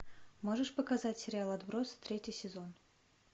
можешь показать сериал отбросы третий сезон